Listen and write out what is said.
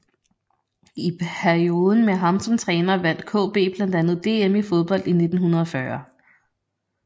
I perioden med ham som træner vandt KB blandt andet DM i fodbold i 1940